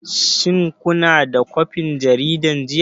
Shin kuna da kwafin jaridar jiya?